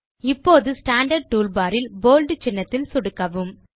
இப்போது standard toolbar இல் bold சின்னத்தில் சொடுக்கவும்